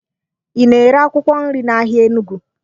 Ị na-ere akwụkwọ nri n'ahịa Enugu?